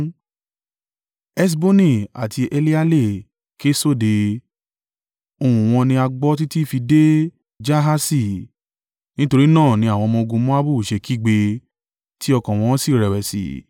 Heṣboni àti Eleale ké sóde, ohùn wọn ni a gbọ́ títí fi dé Jahasi. Nítorí náà ni àwọn ọmọ-ogun Moabu ṣe kígbe tí ọkàn wọn sì rẹ̀wẹ̀sì.